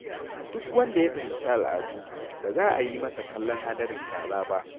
Duk wanda ya fahimci al’adu, ba za a yi masa kallon hadarin kaza ba.